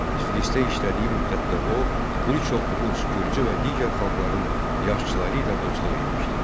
Tiflisdə işlədiyi müddətdə o, bir çox rus, gürcü və digər xalqların yaşçıları ilə dostluq etmişdi.